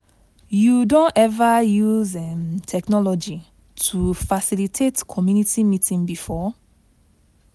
you don ever use um technology to facilitate community meeting before?